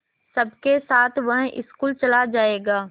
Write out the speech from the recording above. सबके साथ वह स्कूल चला जायेगा